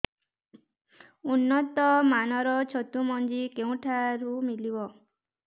ଉନ୍ନତ ମାନର ଛତୁ ମଞ୍ଜି କେଉଁ ଠାରୁ ମିଳିବ